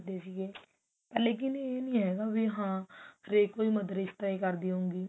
ਦਿਸ ਗਏ ਪਹਿਲੀ ਕੀ ਇਹ ਨੀ ਹੈਗਾ ਹਾਂ ਹਰੇਕ ਕੋਈ mother ਇਸ ਤਰਾਂ ਹੀ ਕਰਦੀ ਹੈ